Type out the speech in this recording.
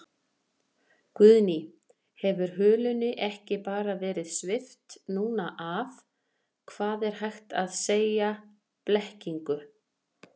Guðný: Hefur hulunni ekki bara verið svipt núna af, hvað er hægt að segja, blekkingu?